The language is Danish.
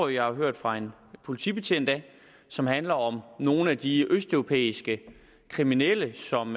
jeg har hørt fra en politibetjent og som handler om nogle af de østeuropæiske kriminelle som